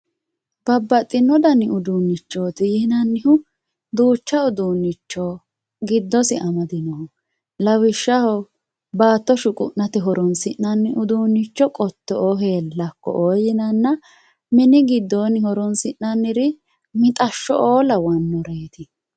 babbaxino dani uduunichoti yinannihu duucha uduunicho giddosi amadinoho lawishshaho baato shuqu'nate horonsi'nanni uduunicho qotto"oo heellako"oo yinanna mini gidoonni horonsi'naniri mixashsho"oo lawanoreeti